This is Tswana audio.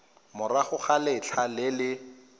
morago ga letlha le le